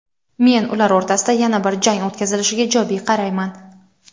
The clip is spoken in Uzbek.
Men ular o‘rtasida yana bir jang o‘tkazilishiga ijobiy qarayman.